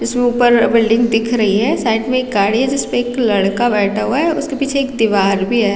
इसमें ऊपर बिल्डिंग दिख रही है साइड में एक गाड़ी है जिसपे एक लड़का बैठा हुआ है उसके पीछे एक दीवार भी है।